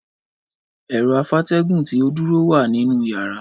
Ẹ̀rọ afátẹ́gùn tí ó dúró wà nínú yàrá